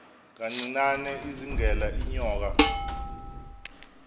kancinane izingela iinyoka